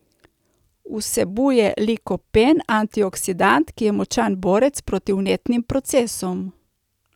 Vsebuje likopen, antioksidant, ki je močan borec proti vnetnim procesom.